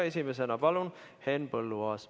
Esimesena palun siia Henn Põlluaasa.